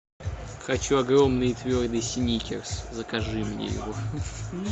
хочу огромный твердый сникерс закажи мне его